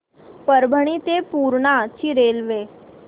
परभणी ते पूर्णा ची रेल्वे